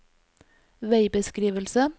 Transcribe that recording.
veibeskrivelse